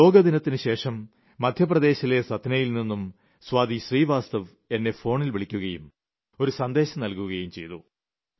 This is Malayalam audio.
യോഗാ ദിനത്തിന് ശേഷം മധ്യപ്രദേശിലെ സത്നയിൽ നിന്ന് സ്വാതി ശ്രീവാസ്തവ് എന്നെ ഫോണിൽ വിളിക്കുകയും ഒരു സന്ദേശം നൽകുകയും ചെയ്തു